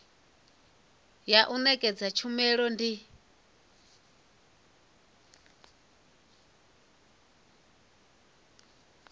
ya u nekedza tshumelo ndi